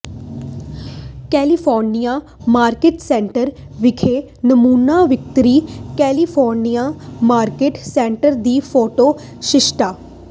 California market centre ਵਿਖੇ ਨਮੂਨਾ ਵਿਕਰੀ ਕੈਲੀਫੋਰਨੀਆ ਮਾਰਕੀਟ ਸੈਂਟਰ ਦੀ ਫੋਟੋ ਸ਼ਿਸ਼ਟਤਾ